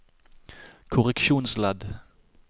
korreksjonsledd